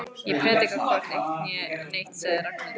Ég predika hvorki eitt né neitt sagði Ragnhildur.